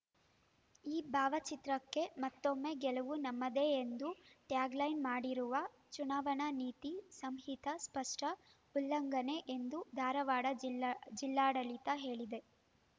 ಈ ಭಾವಚಿತ್ರಕ್ಕೆ ಮತ್ತೋಮ್ಮೇ ಗೆಲುವು ನಮ್ಮದೇ ಎಂದು ಟ್ಯಾಗ್ ಲೈನ್ ಮಾಡಿರುವ ಚುನಾವಣಾ ನೀತಿ ಸಂಹಿತ ಸ್ಪಷ್ಟ ಉಲ್ಲಂಘನೆ ಎಂದು ಧಾರವಾಡ ಜಿಲ್ಲಾ ಜಿಲ್ಲಾಡಳಿತ ಹೇಳಿದೆ